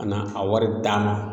Ka na a wari d'a ma